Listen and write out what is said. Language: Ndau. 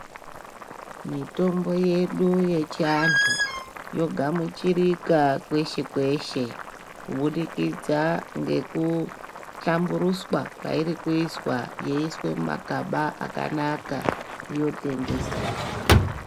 Mitombo yedu yechiantu yogamuchirika kweshe kweshe kubudikidza ngekuhlamburuswa kwairi kuizwa yeiiswe mumagaba akanaka, yotengeswa.